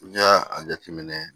N'i y'a a jateminɛ